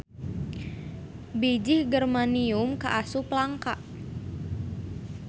Bijih germanium kaasup langka.